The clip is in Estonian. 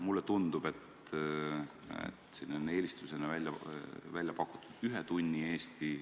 Mulle tundub, et siin on eelistusena välja pakutud ühe tunni Eesti.